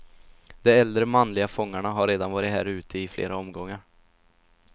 De äldre manliga fångarna har redan varit här ute i flera omgångar.